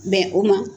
Bɛn o ma